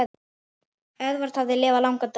Eðvarð hafði lifað langan dag.